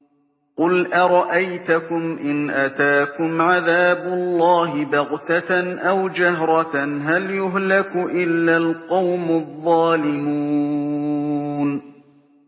قُلْ أَرَأَيْتَكُمْ إِنْ أَتَاكُمْ عَذَابُ اللَّهِ بَغْتَةً أَوْ جَهْرَةً هَلْ يُهْلَكُ إِلَّا الْقَوْمُ الظَّالِمُونَ